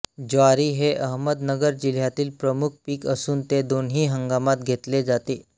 ज्वारी हे अहमदनगर जिल्ह्यातील प्रमुख पीक असून ते दोन्ही हंगामांत घेतले जाते